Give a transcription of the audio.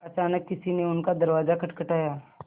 अचानक किसी ने उनका दरवाज़ा खटखटाया